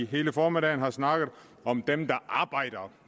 hele formiddagen har snakket om dem der arbejder